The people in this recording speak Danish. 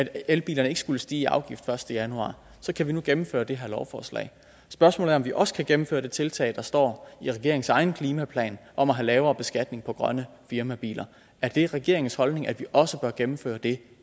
at elbilerne ikke skulle stige i afgift den første januar så kan vi nu gennemføre det her lovforslag spørgsmålet er om vi også kan gennemføre det tiltag der står i regeringens egen klimaplan om at have lavere beskatning på grønne firmabiler er det regeringens holdning at vi også bør gennemføre det